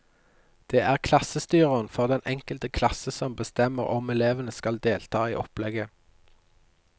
Det er klassestyreren for den enkelte klasse som bestemmer om elevene skal delta i opplegget.